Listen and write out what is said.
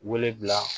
Wele bila